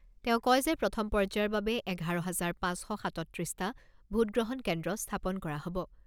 তেওঁ কয় যে প্ৰথম পৰ্যায়ৰ বাবে এঘাৰ হাজাৰ পাঁচ শ সাতত্ৰিছটা ভোটগ্ৰহণ কেন্দ্ৰ স্থাপন কৰা হ'ব।